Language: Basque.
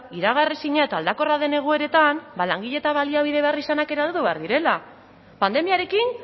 iragar ezina eta aldakorra den egoeretan ba langile eta baliabide beharrizanak ere behar direla pandemiarekin